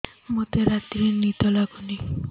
ମୋତେ ରାତିରେ ନିଦ ଲାଗୁନି